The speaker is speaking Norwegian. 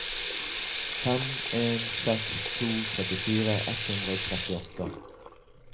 fem en seks to trettifire ett hundre og trettiåtte